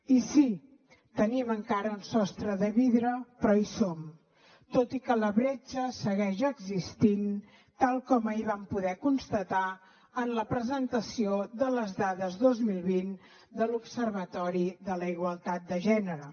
i sí tenim encara un sostre de vidre però hi som tot i que la bretxa segueix existint tal com ahir vam poder constatar en la presentació de les dades dos mil vint de l’observatori de la igualtat de gènere